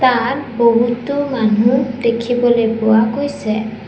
তাত বহুতো মানুহ দেখিবলৈ পোৱা গৈছে।